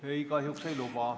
Ei, kahjuks ei luba.